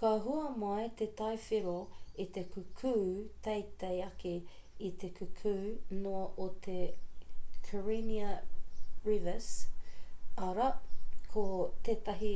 ka hua mai te tai whero i te kukū teitei ake i te kukū noa o te karenia brevis arā ko tētahi